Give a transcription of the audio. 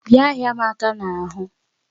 Bịa hịa m aka n'ahụ!